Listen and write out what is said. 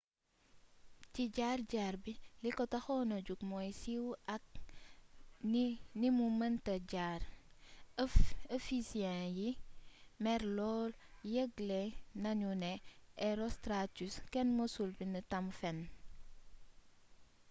ci jaar jaar bi li ko taxon na jóg mooy siiw aak ni mu mënte jar ephesyen yi mer lool yëgle nanu ne herostratus kenn mësul bnd tam fenn